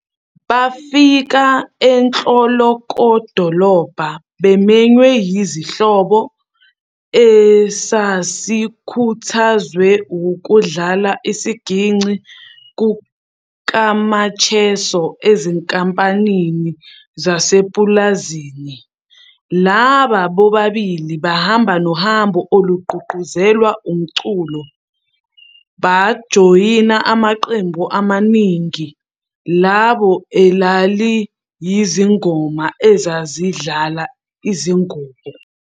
Bafika enhlokodolobha bemenywe yisihlobo, esasikhuthazwe wukudlala isiginci kukaMacheso ezinkampanini zasepulazini, laba bobabili bahamba nohambo olugqugquzelwe umculo, bajoyina amaqembu amaningi, iningi labo elaliyizingoma ezazidlala izingubo.